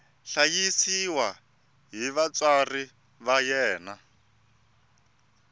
hlayisiwa hi vatswari va yena